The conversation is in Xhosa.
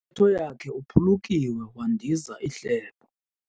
Kwintetho yakhe uphulukiwe wandiza ihlebo.